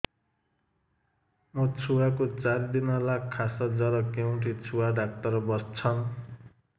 ମୋ ଛୁଆ କୁ ଚାରି ଦିନ ହେଲା ଖାସ ଜର କେଉଁଠି ଛୁଆ ଡାକ୍ତର ଵସ୍ଛନ୍